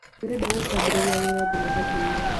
Ndĩrenda gũkambĩrĩria wĩra jumatatũ-ĩno